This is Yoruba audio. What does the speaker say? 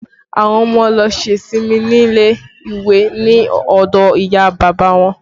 Àwọn ọmọ lọ ṣe ìsinmi nílé ìwé ni ọdọ ìyá bàbá wọn